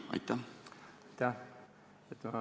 Aitäh!